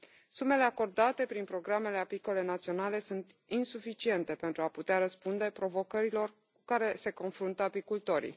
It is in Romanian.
Sumele acordate prin programele apicole naționale sunt insuficiente pentru a putea răspunde provocărilor cu care se confruntă apicultorii.